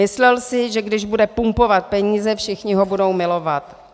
Myslel si, že když bude pumpovat peníze, všichni ho budou milovat.